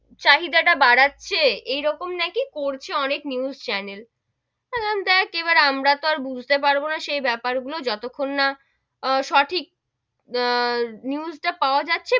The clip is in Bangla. চাহিদা তা বাড়াচ্ছে, এরকম নাকি করছে অনেক news channel আমি বললাম দেখ এবার আমরা তো আর বুঝতে পারবো না সেই বেপার গুলো যতখন না আহ সঠিক, আহ news টা পাওয়া যাচ্ছে,